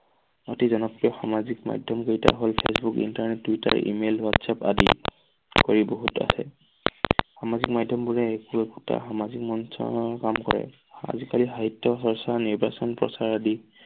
অতি জনপ্ৰিয় সামাজিক মাধ্যম কেইটা হল- ফেচবুক, ইন্টাৰনেটত, টুইটাৰ, ই মেইল, হোৱাতচাপ আদি কৰি বহুত আছে। সামাজিক মাধ্যমবোৰে একো একোতা সামাজিক মঞ্চৰ কাম কৰে। আজি কালি সাহিত্য চৰ্চা, নিৰ্বাচন প্ৰচাৰ আদি।